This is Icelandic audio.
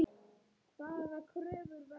Hvaða kröfur verða þar?